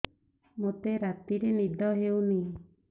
ମୋତେ ରାତିରେ ନିଦ ହେଉନି